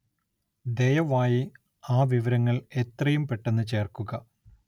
ദയവായി ആ വിവരങ്ങള്‍ എത്രയും പെട്ടെന്ന് ചേര്‍ക്കുക